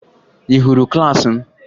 Ị hụrụ klaasị m?